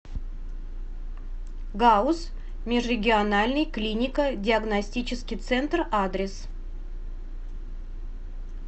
гауз межрегиональный клинико диагностический центр адрес